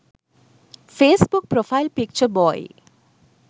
facebook profile picture boy